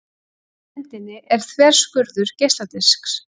Efst á myndinni er þverskurður geisladisks.